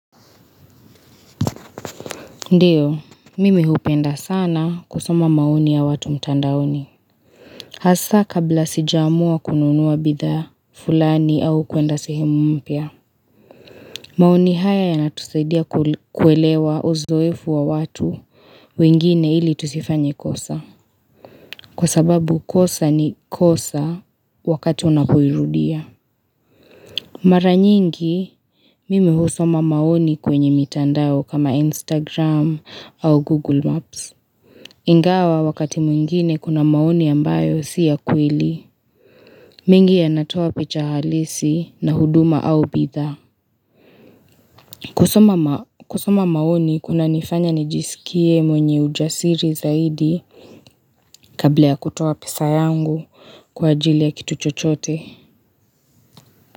Ndiyo, mimi hupenda sana kusoma maoni ya watu mtandaoni. Hasa kabla sijaamua kununua bidhaa fulani au kuenda sehemu mpya. Maoni haya yanatusaidia kuelewa uzoefu wa watu wengine ili tusifanye kosa. Kwa sababu kosa ni kosa wakati unapoirudi Mara nyingi, mimi husoma maoni kwenye mitandao kama Instagram au Google Maps. Ingawa wakati mwingine kuna maoni ambayo siyakweli mingi yanatoa picha halisi na huduma au bidhaa kusoma maoni kunanifanya nijisikie mwenye ujasiri zaidi Kabla ya kutoa pesa yangu kwa ajili ya kitu chochote.